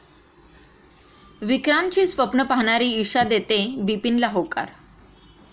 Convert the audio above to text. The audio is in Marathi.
विक्रांतची स्वप्नं पाहणारी ईशा देते बिपिनला होकार